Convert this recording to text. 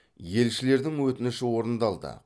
елшілердің өтініші орындалды